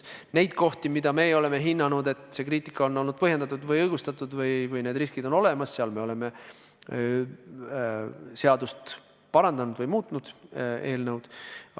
Neid kohti, mille puhul me oleme hinnanud, et kriitika on olnud põhjendatud, õigustatud või et riskid on olemas, me oleme parandanud ja eelnõu muutnud.